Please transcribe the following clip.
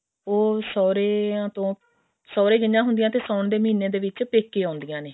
ਉਹ ਸੋਹਰਿਆਂ ਤੋਂ ਸੋਹਰੇ ਗਈਆਂ ਹੁੰਦੀਆਂ ਤੇ ਸਾਉਣ ਦੇ ਮਹੀਨੇ ਵਿੱਚ ਪੇਕੇ ਆਉਂਦੀਆਂ ਨੇ